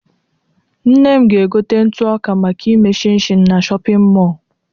Nne m ga-egote ntụọka, maka ime shịnshịn, na shọpịn mọọlụ.